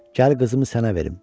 Gəl qızımı sənə verim.